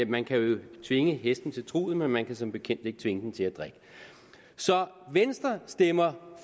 man kan jo tvinge hesten til truget men man kan som bekendt ikke at tvinge den til at drikke så venstre stemmer